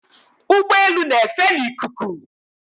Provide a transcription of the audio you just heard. Ụgbọelu na-efe n'ikuku